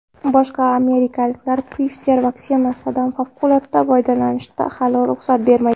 Boshqa amirliklar Pfizer vaksinasidan favqulodda foydalanishga hali ruxsat bermagan.